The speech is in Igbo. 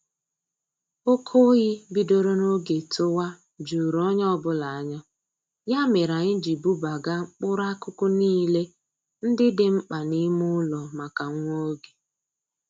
Oke oyi bidoro n'oge tụwa juru onye ọbụla anya, ya mere anyị ji bubaga mkpụrụ akụkụ niile ndị dị mkpa n'ime ụlọ maka nwa oge